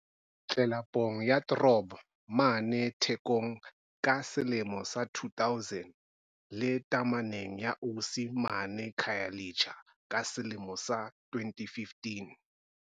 tlelapong ya Throb mane Thekong ka selemo sa 2000, le tameneng ya Osi mane Khayelitsha ka selemo sa 2015.